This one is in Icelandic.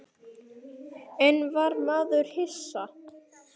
En var maður hissa?